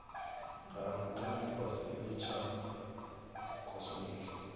ha ntha lifhasini tsha cosmic